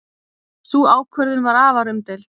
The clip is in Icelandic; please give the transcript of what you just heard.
Sú ákvörðun var afar umdeild.